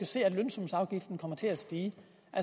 se at lønsumsafgiften kommer til at stige